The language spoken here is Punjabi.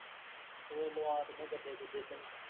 ਹੋਰ ਲਵਾ ਦਿੰਦੇ ਗੇਦੇ ਗੁੱਦੇ ਤੈਨੂੰ